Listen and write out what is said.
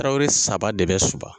Tarawele saba de bɛ Soba